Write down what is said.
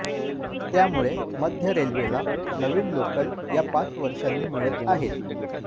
त्यामुळे मध्य रेल्वेला नवीन लोकल या पाच वर्षांनी मिळत आहेत